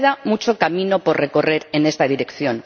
Nos queda mucho camino por recorrer en esta dirección.